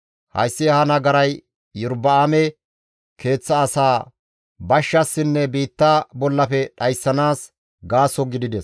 Hayssi ha nagaray Iyorba7aame keeththa asaa bashshassinne biitta bollafe dhayssanaas gaaso gidides.